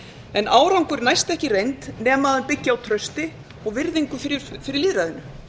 en árangur næst ekki í reynd nema hann byggi á trausti og virðingu fyrir lýðræðinu